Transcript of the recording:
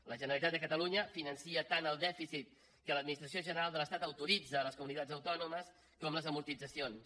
la generalitat de catalunya finança tant el dèficit que l’administració general de l’estat autoritza a les comunitats autònomes com les amortitzacions